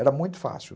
Era muito fácil.